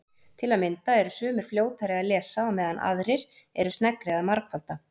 Til að mynda eru sumir fljótari að lesa á meðan aðrir eru sneggri að margfalda.